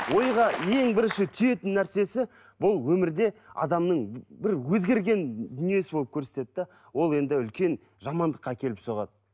ойға ең бірінші түйетін нәрсесі бұл өмірде адамның бір өзгерген дүниесі болып көрсетеді де ол енді үлкен жамандыққа әкеліп соғады